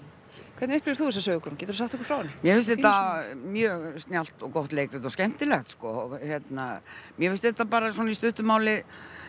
hvernig upplifir þú þessa sögu Guðrún geturðu sagt okkur frá henni mér finnst þetta mjög snjallt og gott leikrit og skemmtilegt sko mér finnst þetta bara í stuttu máli